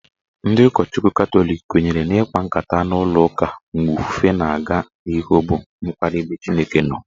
Ndị ụkọchukwu Katọlik kwenyere na ikpa nkata n'ụlọụka mgbe ofufe na-aga n'ihu bụ mkparị ebe Chukwu nọ.